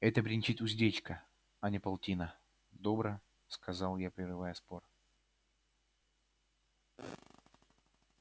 это бренчит уздечка а не полтина добро сказал я прерывая спор